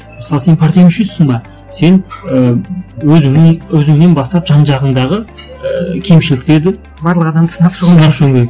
мысалы сен партия мүшесісің бе сен ыыы өз өзіңнен бастап жан жағындағы ыыы кемшіліктерді барлық адамды сынап шығу сынап шығуың керек